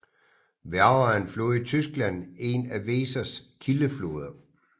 Werra er en flod i Tyskland en af Wesers kildefloder